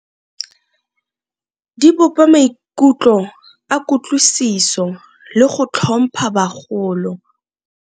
Di bopa maikutlo a kutlwisiso le go tlhompha bagolo.